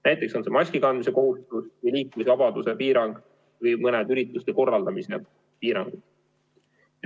Näiteks on see maskikandmise kohustus või liikumisvabaduse piirang või mõni ürituste korraldamise piirang.